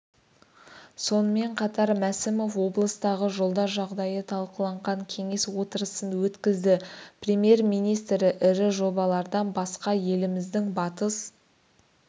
сонымен қатар мәсімов облыстағы жолдар жағдайы талқыланған кеңес отырысын өткізді премьер-министр ірі жобалардан басқа еліміздің батыс